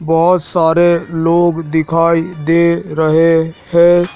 बहुत सारे लोग दिखाई दे रहे है।